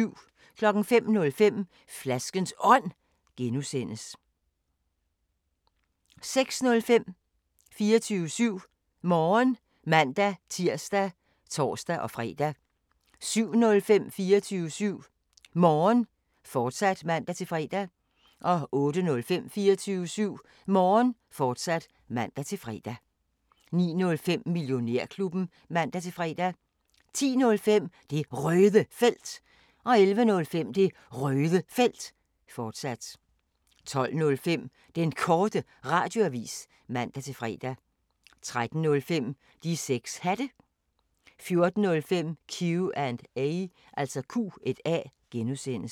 05:05: Flaskens Ånd (G) 06:05: 24syv Morgen (man-tir og tor-fre) 07:05: 24syv Morgen, fortsat (man-fre) 08:05: 24syv Morgen, fortsat (man-fre) 09:05: Millionærklubben (man-fre) 10:05: Det Røde Felt 11:05: Det Røde Felt, fortsat 12:05: Den Korte Radioavis (man-fre) 13:05: De 6 Hatte 14:05: Q&A (G)